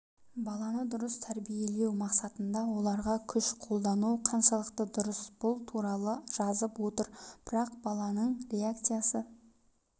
баланы дұрыс тәрбиелеу мақсатында оларға күш қолдану қаншалықты дұрыс бұл туралы жазып отыр бірақ баланың реакциясы